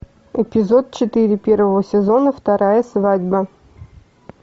эпизод четыре первого сезона вторая свадьба